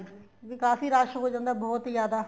ਵੀ ਕਾਫ਼ੀ ਰੱਸ਼ ਹੋ ਜਾਂਦਾ ਏ ਬਹੁਤ ਜਿਆਦਾ